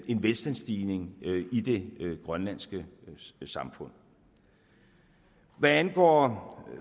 en velstandsstigning i det grønlandske samfund hvad angår